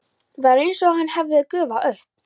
Var einsog hann hefði gufað upp.